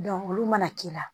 olu mana k'i la